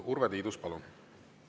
Urve Tiidus, palun!